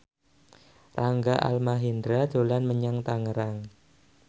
Rangga Almahendra dolan menyang Tangerang